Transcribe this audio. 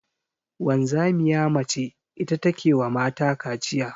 Wanzamiya mace ita ta ke wa mata kaciya.